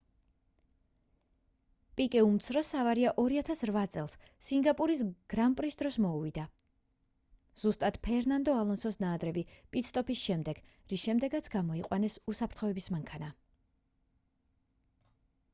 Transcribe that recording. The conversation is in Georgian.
პიკე უმცროსს ავარია 2008 წელს სინგაპურის გრან პრის დროს მოუვიდა ზუსტად ფერნანდო ალონსოს ნაადრევი პიტ სტოპის შემდეგ რის შემდეგაც გამოიყვანეს უსაფრთხოების მანქანა